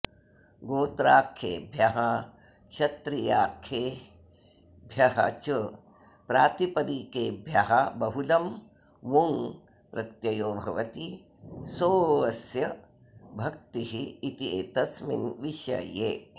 गोत्राऽख्येभ्यः क्षत्रियाऽख्येभ्यश्च प्रातिपदिकेभ्यः बहुलं वुञ् प्रत्ययो भवति सो ऽस्य भक्तिः इत्येतस्मिन् विषये